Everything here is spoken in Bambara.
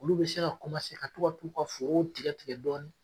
Olu bɛ se ka ka to ka t'u ka forow tigɛ tigɛ dɔɔnin.